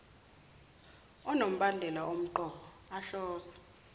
onombandela omqoka ohlose